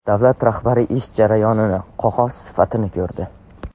Davlat rahbari ish jarayonini, qog‘oz sifatini ko‘rdi.